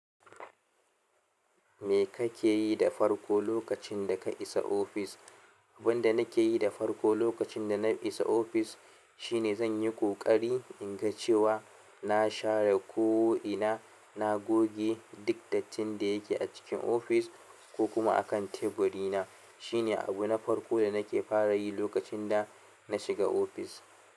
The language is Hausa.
Me ka ke yi da farko lokacin da ka isa ofis? Abin da nabke yi da farko lokacin da na isa ofis shi ne zan yi ƙoƙari in ga cewa na share ko'ina, na goge duk dattin da ya ke a cikin ofis ko kuma a kan teburina. Shi ne abu na farko da na ke fara yi lokacin da na shiga ofis.